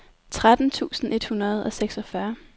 tretten tusind et hundrede og seksogfyrre